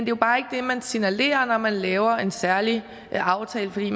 jo bare ikke det man signalerer når man laver en særlig aftale fordi